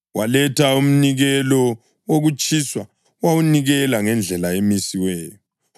Waletha umnikelo wokutshiswa wawunikela ngendlela emisiweyo.